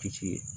Kisi